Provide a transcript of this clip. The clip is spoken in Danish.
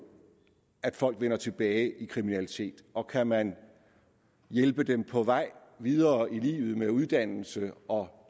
at folk vender tilbage i kriminalitet og kan man hjælpe dem på vej videre i livet med uddannelse og